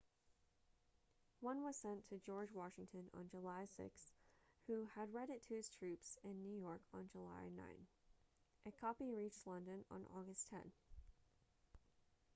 one was sent to george washington on july 6 who had it read to his troops in new york on july 9 a copy reached london on august 10